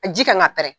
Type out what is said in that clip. A ji kan ka pɛrɛn